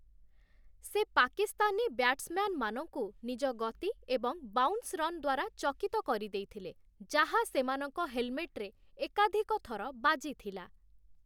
ସେ ପାକିସ୍ତାନୀ ବ୍ୟାଟ୍ସମ୍ୟାନମାନଙ୍କୁ ନିଜ ଗତି ଏବଂ ବାଉନ୍ସରନ୍ ଦ୍ୱାରା ଚକିତ କରିଦେଇଥିଲେ, ଯାହା ସେମାନଙ୍କ ହେଲମେଟ୍‌ରେ ଏକାଧିକ ଥର ବାଜିଥିଲା ।